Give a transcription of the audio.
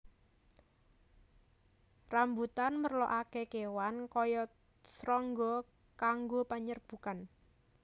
Rambutan merlokaké kéwan kaya srangga kanggo penyerbukan